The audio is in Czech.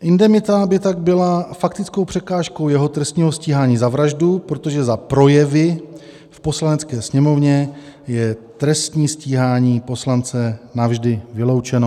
Indemita by tak byla faktickou překážkou jeho trestního stíhání za vraždu, protože za projevy v Poslanecké sněmovně je trestní stíhání poslance navždy vyloučeno.